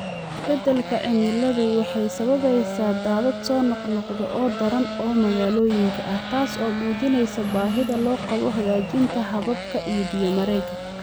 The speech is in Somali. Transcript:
Isbeddelka cimiladu waxay sababaysaa daadad soo noqnoqda oo daran oo magaalooyinka ah, taas oo muujinaysa baahida loo qabo hagaajinta hababka biyo-mareenka.